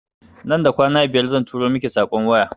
Nan da kwana biyar zan turo miki saƙon waya